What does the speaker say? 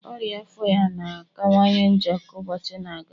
ọria afọ ya na-akawanye njọ ka ụbọchị na-aga